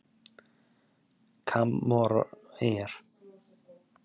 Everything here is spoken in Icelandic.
Kómoreyjar